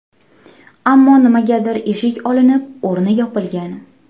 Ammo nimagadir eshik olinib, o‘rni yopilgan.